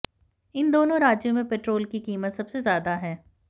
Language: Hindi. इन दोनों राज्यों में पेट्रोल की कीमत सबसे ज्यादा है